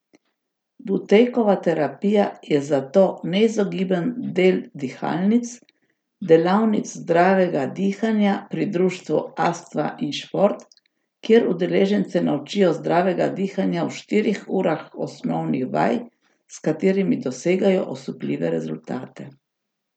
Butejkova terapija je zato neizogiben del Dihalnic, delavnic zdravega dihanja pri Društvu astma in šport, kjer udeležence naučijo zdravega dihanja v štirih urah osnovnih vaj, s katerimi dosegajo osupljive rezultate.